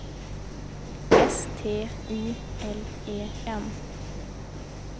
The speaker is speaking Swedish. S T I L E N